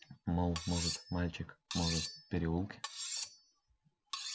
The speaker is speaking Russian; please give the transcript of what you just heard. мол может мальчик может в переулке